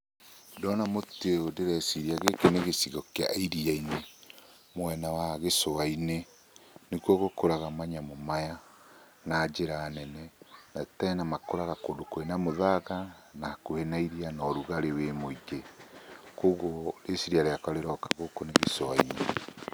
Ndona mũtĩ ũyũ ndĩreciria gĩkĩ nĩ gĩcigo kĩa iriya-inĩ mwena wa gĩcũa-inĩ, nĩkuo gũkũraga manyamũ maya na njĩra nene. Na tena makũraga kũndũ kwĩna mũthanga, na hakũhĩ na iriya na ũrugarĩ wĩ mũingĩ. Koguo rĩciria rĩakwa rĩroka gũkũ nĩ gĩcũa-inĩ.